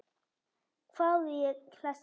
hváði ég hlessa.